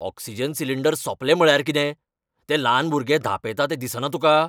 Oxygen cylinder सोंपले म्हळ्यार कितें? तें ल्हान भुरगें धांपेता तें दिसना तुका?